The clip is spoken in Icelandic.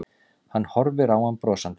Hún horfir á hann brosandi.